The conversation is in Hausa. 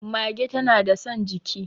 mage tana da San jiki